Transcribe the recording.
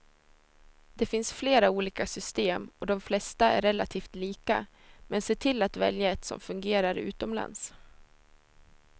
Det finns flera olika system och de flesta är relativt lika, men se till att välja ett som fungerar utomlands.